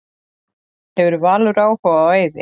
Hefur Valur áhuga á Eiði?